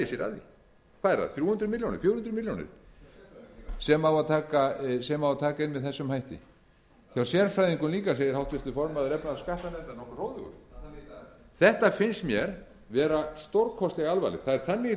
er það þrjú hundruð milljónir fjögur hundruð milljónir sem á að taka inn með þessum hætti hjá sérfræðingum líka segir háttvirtur formaður efnahags og skattanefndar nokkuð hróðugur þetta finnst mér vera stórkostlega alvarlegt það er þannig í